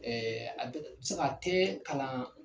Ɛɛ a tɛ a tɛ kalan.